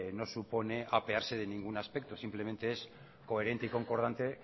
no supone apearse de ningún aspecto simplemente es coherente y concordante